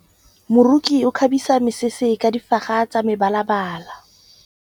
Moroki o kgabisa mesese ka difaga tsa mebalabala.